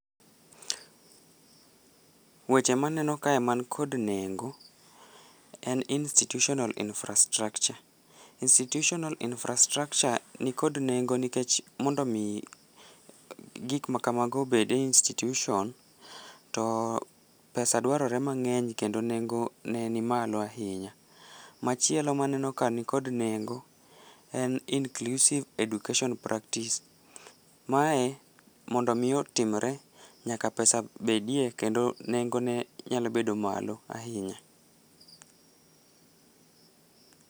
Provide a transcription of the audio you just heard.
Weche maneno kae man kod nengo, en institutional infrastructure. Institutional infrastructure nikod nengo nikech mondo mi gik ma kamago obed e institution, to pesa dwarore mang'eny kendo nengo ne ni malo ahinya. Machielo maneno ka nikod nengo en inclusive education practice. Mae mondo mi otimre, nyaka pesa bedie kendo nengo ne nyalo bedo malo ahinya.